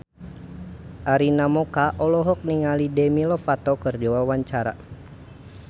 Arina Mocca olohok ningali Demi Lovato keur diwawancara